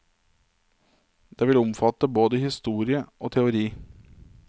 Det vil omfatte både historie og teori.